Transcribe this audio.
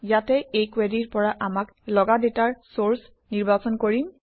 ইয়াতে এই কুৱেৰিৰ পৰা আমাক লগা ডাটাৰ চৰ্চ নিৰ্বাচন কৰিম